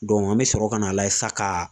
an bɛ sɔrɔ ka na layɛ sisan ka.